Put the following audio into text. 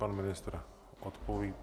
Pan ministr odpoví.